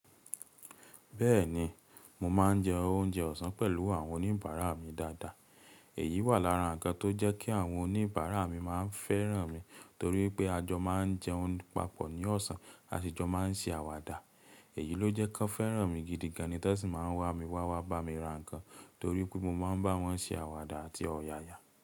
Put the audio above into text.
Bẹ́ẹ̀ni, mo máà ń jẹ oúnjẹ ọ̀sán pẹ̀lú àwọn oníbàárà mi dáadáa. Èyí wà lára ǹkan tó jẹ́ kí àwọn oníbàárà mi fẹ́ràn mi torí pé a jọ máa ń jẹ oún pápọ̀ ní ọ̀sán, a sì jọ máa ń ṣe àwàdà. Èyí ló jẹ́ kí wọ́n fẹ́ràn mi gidi gan, ní tẹ́ sì máa ń wá mi wá wá bá mi ra ǹkan torí pé mo máa ń bá wọn ṣe àwàdà àti ọ̀yàyà.